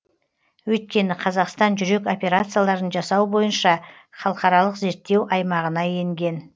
өйткені қазақстан жүрек операцияларын жасау бойынша халықаралық зерттеу аймағына енген